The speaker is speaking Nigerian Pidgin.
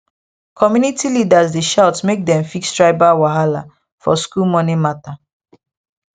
community leaders dey shout make dem fix tribal wahala for school money matter